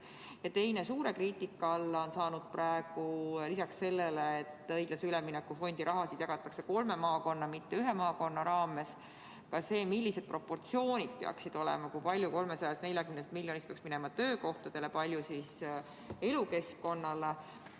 Ja teine pool: suur küsimus on lisaks sellele, et õiglase ülemineku fondi rahasid jagatakse kolme maakonna, mitte ühe maakonna vahel, ka see, millised proportsioonid peaksid olema: kui palju 340 miljonist peaks minema töökohtade loomiseks, kui palju elukeskkonna parandamiseks.